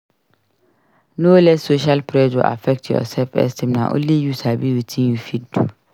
No let social pressure affect your self-esteem; na only you sabi wetin you fit do.